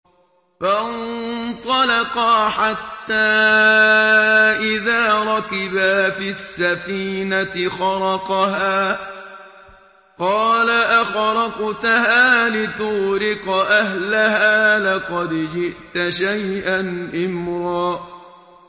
فَانطَلَقَا حَتَّىٰ إِذَا رَكِبَا فِي السَّفِينَةِ خَرَقَهَا ۖ قَالَ أَخَرَقْتَهَا لِتُغْرِقَ أَهْلَهَا لَقَدْ جِئْتَ شَيْئًا إِمْرًا